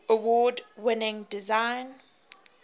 award winning design